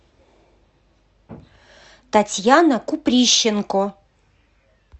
татьяна куприщенко